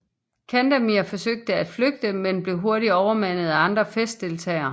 Candemir forsøgte at flygte men blev hurtigt overmandet af andre festdeltagere